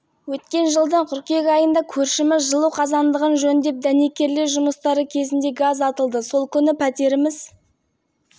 іске аспай қалды бізге жүк көлігін беріп аман қалған мүлкімізді алып кеттен едік пәтер жалдап